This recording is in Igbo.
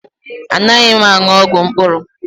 Anaghị m aṅụ ọgwụ mkpụrụ.